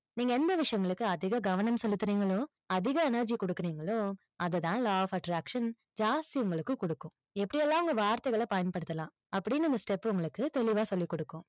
நீங்க எந்த விஷயங்களுக்கு அதிக கவனம் செலுத்துறீங்களோ, அதிக energy கொடுக்கறீங்களோ, அதை தான் law of attraction ஜாஸ்தி உங்களுக்கு கொடுக்கும். எப்படியெல்லாம் உங்க வார்த்தைகளை பயன்படுத்தலாம், அப்படின்னு அந்த step உங்களுக்கு தெளிவாக சொல்லிக் கொடுக்கும்.